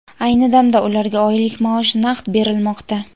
Ayni damda ularga oylik maosh naqd berilmoqda.